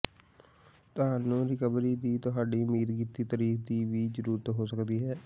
ਤੁਹਾਨੂੰ ਰਿਕਵਰੀ ਦੀ ਤੁਹਾਡੀ ਉਮੀਦ ਕੀਤੀ ਤਾਰੀਖ ਦੀ ਵੀ ਜ਼ਰੂਰਤ ਹੋ ਸਕਦੀ ਹੈ